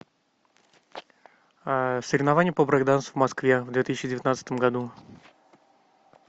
соревнования по брейк дансу в москве в две тысячи девятнадцатом году